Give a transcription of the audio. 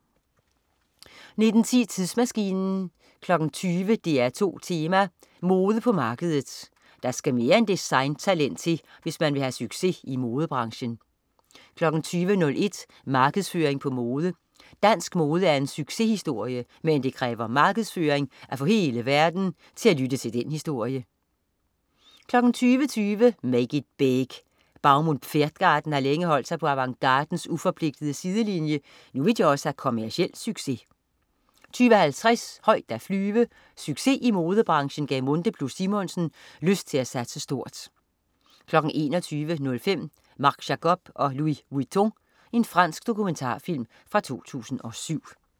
19.10 Tidsmaskinen 20.00 DR2 Tema: Mode på markedet. Der skal mere end design-talent til, hvis man vil have succes i modebranchen 20.01 Markedsføring på mode. Dansk mode er en succeshistorie, men det kræver markedsføring at få hele verden til at lytte til den historie 20.20 Make it big. Baum und Pferdgarten har længe holdt sig på avantgardens uforpligtende sidelinje. Nu vil de også have kommerciel succes 20.50 Højt at flyve. Succes i modebranchen gav Munthe+Simonsen lyst til at satse stort 21.05 Marc Jacobs & Louis Vuitton. Fransk dokumentarfilm fra 2007